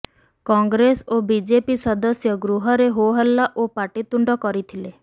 କଂଗ୍ରେସ ଓ ବିଜେପି ସଦସ୍ୟ ଗୃହରେ ହୋହଲ୍ଲା ଓ ପାଟିତୁଣ୍ଡ କରିଥିଲେ